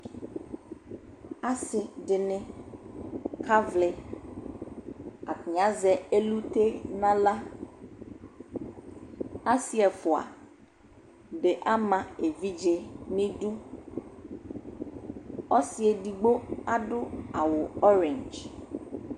asidini kaʋlɩ atani asɛ ɛlʊtɛ nʊ alra asi ɛʋae ama ɛvidjɛ nʊ idʊ asi eɖigbo adʊ awʊ mudigbata